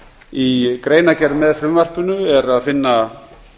í greinargerð með frumvarpinu er að finna